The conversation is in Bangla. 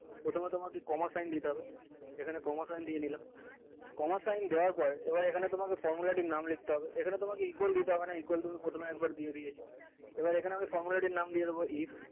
প্রথমে তোমাকে coma sign দিতে হবে এখানে coma sign দিয়ে নিলাম coma sign দেওয়ার পর এবার এখানে তোমাকে formula টির নাম লিখতে হবে এখানে তোমাকে equal দিতে হবে না equal তুমি প্রথমেই একবার দিয়ে দিয়েছো এবার এখানে আমি formula টির নাম দিয়ে দিবো if